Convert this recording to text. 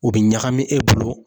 O bɛ ɲagami e bolo